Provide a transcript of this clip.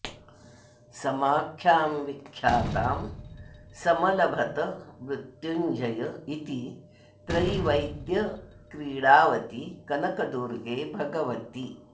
समाख्यां विख्यातां समलभत मृत्युञ्जय इति त्रयीवेद्यक्रीडावति कनकदुर्गे भगवति